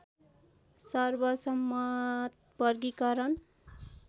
सर्वसम्मत वर्गीकरण